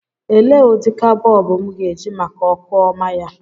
Elee ụdịka bọlbụ m ga-eji maka ọkụ ọma ya.